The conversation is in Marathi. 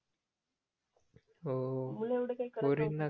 हो